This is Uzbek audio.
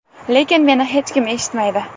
Lekin meni hech kim eshitmaydi.